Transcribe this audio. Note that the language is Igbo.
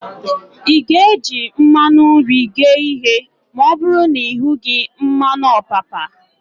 Ị ga-eji mmanụ nri ghee ihe ma ọbụrụ na ị hughị mmanụ ọpapa?